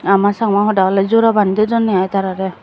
aama chakma hoda oley jora bani dedonney i tararey.